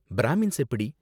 Brahmins எப்படி?